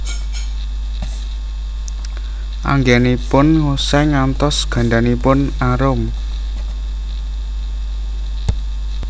Anggènipun ngosèng ngantos gandanipun arum